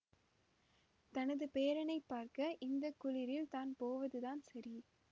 தனது பேரனைப் பார்க்க இந்த குளிரில் தான் போவதுதான் சரி